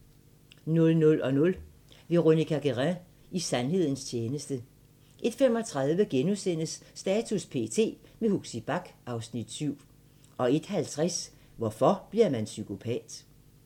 00:00: Veronica Guerin – i sandhedens tjeneste 01:35: Status p.t. – med Huxi Bach (Afs. 7)* 01:50: Hvorfor bliver man psykopat?